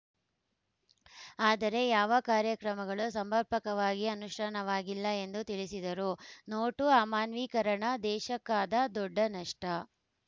ಆದರೆ ಯಾವ ಕಾರ್ಯಕ್ರಮಗಳು ಸಮರ್ಪಕವಾಗಿ ಅನುಷ್ಠಾನವಾಗಿಲ್ಲ ಎಂದು ತಿಳಿಸಿದರು ನೋಟು ಅಮಾನ್ಯೀಕರಣ ದೇಶಕ್ಕಾದ ದೊಡ್ಡ ನಷ್ಟ